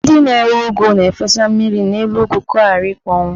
Ndị na-ere ụgụ na-efesa mmiri n'elu ụgụ ka ọ ghara ịkpọnwụ.